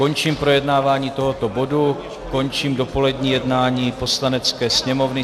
Končím projednávání tohoto bodu, končím dopolední jednání Poslanecké sněmovny.